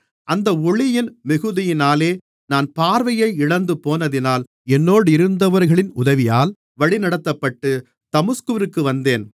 அந்த ஒளியின் மிகுதியினாலே நான் பார்வையை இழந்துபோனதினால் என்னோடிருந்தவர்களின் உதவியால் வழிநடத்தப்பட்டு தமஸ்குவிற்கு வந்தேன்